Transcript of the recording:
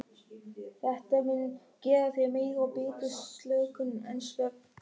Þetta mun gefa þér meiri og betri slökun en svefn.